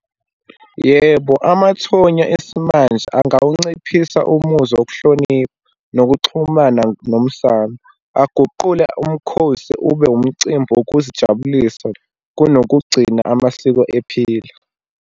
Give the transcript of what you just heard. Yebo, amathonya esimanje angawunciphisa umuzwa wokuhlonipha nokuxhumana nomsamo, aguqule umkhosi ube umcimbi wokuzijabulisa kunokugcina amasiko ephila.